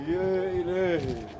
Ya ilahi!